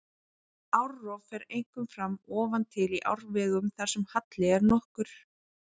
Árrof fer einkum fram ofan til í árfarvegum þar sem halli er nokkur.